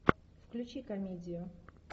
включи комедию